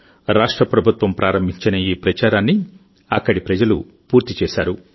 రాష్ట్ర ప్రభుత్వం ప్రారంభించిన ఈ ప్రచారాన్ని అక్కడి ప్రజలు పూర్తి చేశారు